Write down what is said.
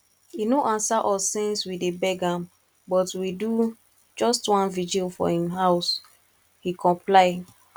e no answer us since we dey beg am but we do just one vigil for im house he comply